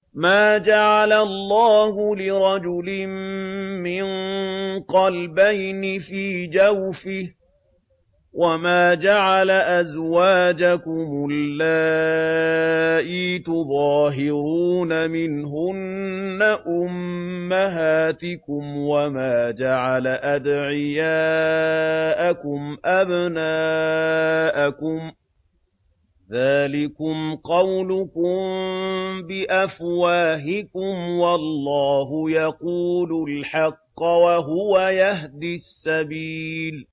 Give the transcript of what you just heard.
مَّا جَعَلَ اللَّهُ لِرَجُلٍ مِّن قَلْبَيْنِ فِي جَوْفِهِ ۚ وَمَا جَعَلَ أَزْوَاجَكُمُ اللَّائِي تُظَاهِرُونَ مِنْهُنَّ أُمَّهَاتِكُمْ ۚ وَمَا جَعَلَ أَدْعِيَاءَكُمْ أَبْنَاءَكُمْ ۚ ذَٰلِكُمْ قَوْلُكُم بِأَفْوَاهِكُمْ ۖ وَاللَّهُ يَقُولُ الْحَقَّ وَهُوَ يَهْدِي السَّبِيلَ